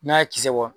N'a ye kisɛ bɔ